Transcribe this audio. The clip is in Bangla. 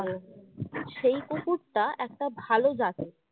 তো সেই কুকুরটা একটা ভালো জাতের